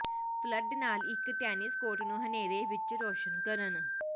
flood ਨਾਲ ਇਕ tennis court ਨੂੰ ਹਨੇਰੇ ਵਿਚ ਰੌਸ਼ਨ ਕਰਨ